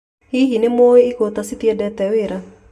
Hihi, ni mũwĩ igũta citiendete wĩra